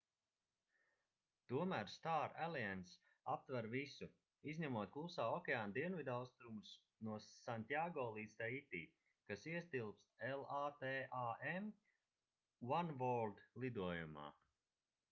tomēr star alliance aptver visu izņemot klusā okeāna dienvidaustrumus no santjāgo līdz taiti kas ietilpst latam oneworld lidojumā